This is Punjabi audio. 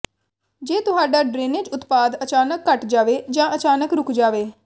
ਜੇ ਤੁਹਾਡਾ ਡਰੇਨੇਜ ਉਤਪਾਦ ਅਚਾਨਕ ਘਟ ਜਾਵੇ ਜਾਂ ਅਚਾਨਕ ਰੁਕ ਜਾਵੇ